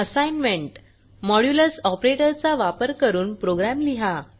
Assignment modulus operator चा वापर करून प्रोग्रॅम लिहा